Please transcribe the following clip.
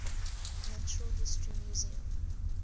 natural history museum